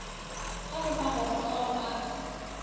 ka go magoro ao a